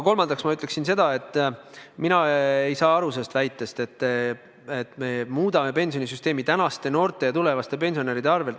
Kolmandaks ma ütleksin seda, et mina ei saa aru väitest, et me muudame pensionisüsteemi tänaste noorte, tulevaste pensionäride arvel.